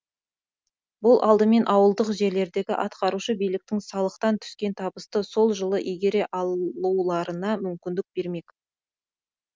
бұл алдымен ауылдық жерлердегі атқарушы биліктің салықтан түскен табысты сол жылы игере алуларына мүмкіндік бермек